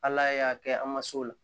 Ala y'a kɛ an ma s'o la